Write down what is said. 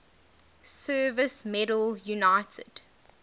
service medal united